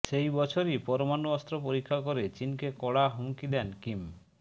সেই বছরই পরমাণু অস্ত্র পরীক্ষা করে চিনকে কড়া হুমকি দেন কিম